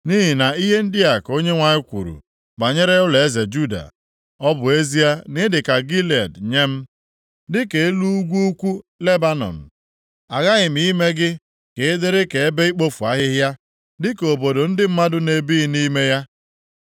Nʼihi na ihe ndị a ka Onyenwe anyị kwuru banyere ụlọeze Juda, “Ọ bụ ezie na ịdị dịka Gilead nye m, dịka elu ugwu ukwu Lebanọn, aghaghị m ime gị ka ị dịrị ka ebe ikpofu ahịhịa, dịka obodo ndị mmadụ na-ebighị nʼime ya.